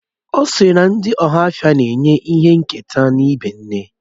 Ọ̀ sịrị na ndị ohafia na-enye ìhè nketa n'ibé nne